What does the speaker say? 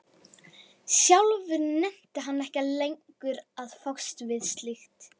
Sjálfur nennti hann ekki lengur að fást við slíkt.